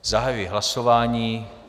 Zahajuji hlasování.